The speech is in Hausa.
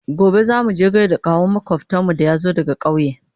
gobe zamuje gaida kawun makwafcinmu da ya zo daga ƙauye